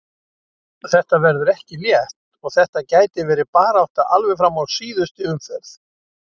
Þetta verður ekki létt og þetta gæti verið barátta alveg fram í síðustu umferð.